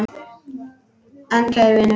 En kæri vinur.